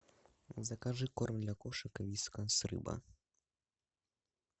закажи корм для кошек вискас рыба